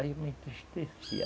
Aí eu me entristeci.